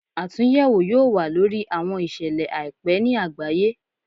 Atunyẹwo yoo wa lori awọn iṣẹlẹ aipẹ ni agbaye